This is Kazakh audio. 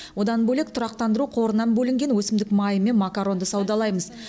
одан бөлек тұрақтандыру қорынан бөлінген өсімдік майы мен макаронды саудалаймыз